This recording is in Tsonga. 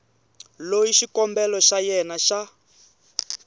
loyi xikombelo xa yena xa